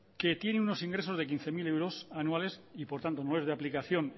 que tiene unos ingresos de quince mil euros anuales y por tanto no es de aplicación